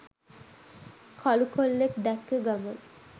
කළු කොල්ලෙක් දැක්ක ගමන්